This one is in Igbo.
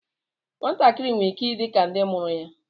Nwatakịrị nwere ike ịdị ka ndị mụrụ ya